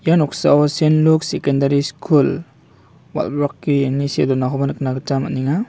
ia noksao sen luk sekendari skul walbakgre ine see donakoba nikna gita man·enga.